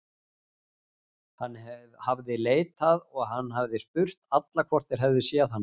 Hann hafði leitað og hann hafði spurt alla hvort þeir hefðu séð hana.